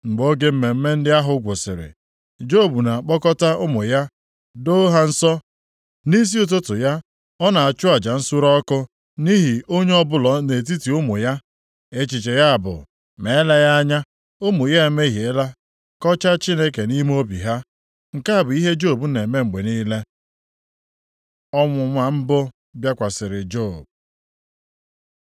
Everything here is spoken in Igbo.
Mgbe oge mmemme ndị ahụ gwụsịrị, Job na-akpọkọta ụmụ ya doo ha nsọ. Nʼisi ụtụtụ ya, ọ na-achụ aja + 1:5 Onyeisi ezinaụlọ ọbụla na-arụ ọrụ dị ka onye nchụaja nye ezinaụlọ ya, tupu Onyenwe anyị e nye Mosis iwu banyere ihe ndị a. nsure ọkụ nʼihi onye ọbụla nʼetiti ụmụ ya. Echiche ya bụ, “Ma eleghị anya, ụmụ ya emehiela kọchaa Chineke nʼime obi ha.” Nke a bụ ihe Job na-eme mgbe niile. Ọnwụnwa mbụ bịakwasịrị Job